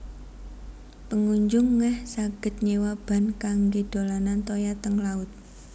Pengunjung ngeh saged nyewa ban kangge dolanan toya teng laut